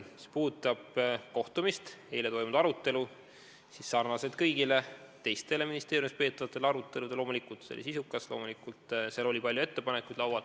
Mis puudutab kohtumist, eile toimunud arutelu, siis sarnaselt kõigi teiste ministeeriumis peetavate aruteludega oli see loomulikult sisukas, loomulikult oli laual palju ettepanekuid.